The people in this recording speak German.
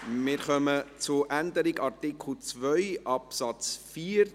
Wir kommen zur Änderung von Artikel 2 Absatz 4.